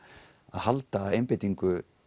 að halda einbeitingu